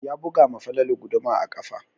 Ya buga ma Falalu guduma a ƙafa.